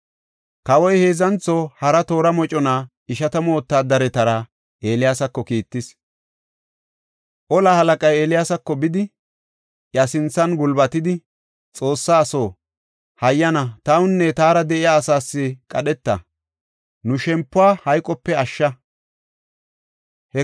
Kawoy heedzantho hara tora mocona ishatamu wotaadaretara Eeliyaasako kiittis. tora moconay Eeliyaasako bidi, iya sinthan gulbatidi, “Xoossa aso, hayyana tawunne taara de7iya asaas qadheta; nu shempuwa hayqope ashsha.